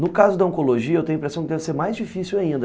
No caso da Oncologia, eu tenho a impressão que deve ser mais difícil ainda,